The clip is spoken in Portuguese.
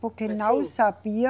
Porque não sabia